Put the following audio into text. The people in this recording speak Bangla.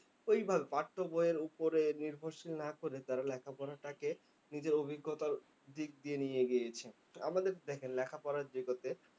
ঐভাবে পাঠ্যবইয়ের উপরে নির্ভরশীল না করে তারা লেখাপড়াটাকে নিজের অভিজ্ঞতার দিক দিয়ে নিয়ে গিয়েছে। আমাদের দেখেন লেখাপড়ার যে গতি